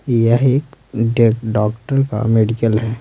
यह एक डॉक्टर का मेडिकल है।